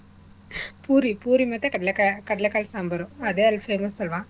ಪೂರಿ ಪೂರಿ ಮತ್ತೇ ಕಡ್ಳೆಕಾಯ್ ಕಡ್ಲೆಕಾಯಿ ಸಾಂಬಾರ್ ಅದೇ ಅಲ್ಲಿ famous ಅಲ್ವಾ.